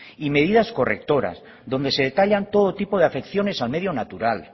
y medidas correctoras donde se detallan todo tipo de afecciones al medio natural